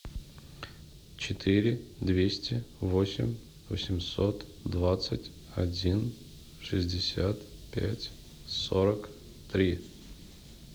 четыре двести восемь восемьсот двадцать один шестьдесят пять сорок три